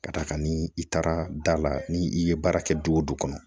Ka d'a kan ni i taara da la ni i ye baara kɛ du o du kɔnɔ